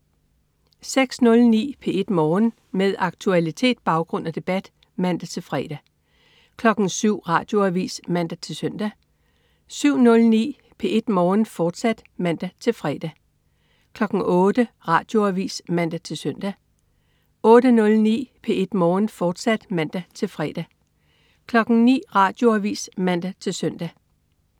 06.09 P1 Morgen. Med aktualitet, baggrund og debat (man-fre) 07.00 Radioavis (man-søn) 07.09 P1 Morgen, fortsat (man-fre) 08.00 Radioavis (man-søn) 08.09 P1 Morgen, fortsat (man-fre) 09.00 Radioavis (man-søn)